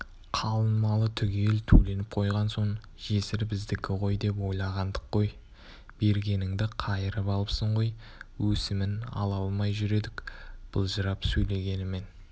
қалың малы түгел төленіп қойған соң жесір біздікі ғой деп ойлағандық қой бергеніңді қайырып алыпсың ғой өсімін ала алмай жүр едік былжырап сөйлегенімен